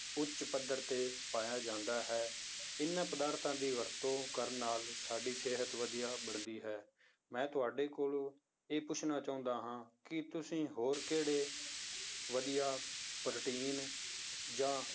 ਉੱਚ ਪੱਧਰ ਤੇ ਪਾਇਆ ਜਾਂਦਾ ਹੈ, ਇਹਨਾਂ ਪਦਾਰਥਾਂ ਦੀ ਵਰਤੋਂ ਕਰਨ ਨਾਲ ਸਾਡੀ ਸਿਹਤ ਵਧੀਆ ਬਣਦੀ ਹੈ, ਮੈਂ ਤੁਹਾਡੇ ਕੋਲੋਂ ਇਹ ਪੁੱਛਣਾ ਚਾਹੁੰਦਾ ਹਾਂ ਕਿ ਤੁਸੀਂ ਹੋਰ ਕਿਹੜੇ ਵਧੀਆ ਪ੍ਰੋਟੀਨ ਜਾਂ